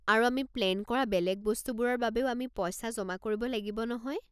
আৰু আমি প্লেন কৰা বেলেগ বস্তুবোৰৰ বাবেও আমি পইচা জমা কৰিব লাগিব নহয়।